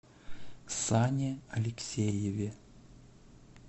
сане алексееве